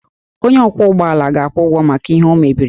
Onye ọkwọ ụgbọ ala ga-akwụ ụgwọ maka ihe o mebiri